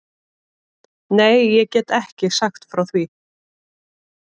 Nei, ég get ekki sagt frá því.